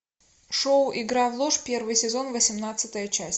шоу игра в ложь первый сезон восемнадцатая часть